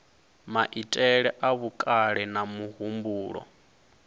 maitele a vhukale na muhumbulo